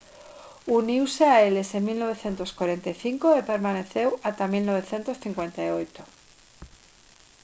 uniuse a eles en 1945 e permaneceu ata 1958